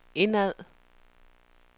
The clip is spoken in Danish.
indad